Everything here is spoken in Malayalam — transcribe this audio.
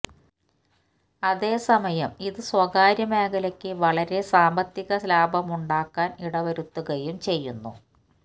അതേ സമയം ഇത് സ്വകാര്യ മേഖലക്ക് വളരെ വലിയ സാമ്പത്തിക ലാഭമുണ്ടാക്കാന് ഇടവരുത്തുകയും ചെയ്യുന്നു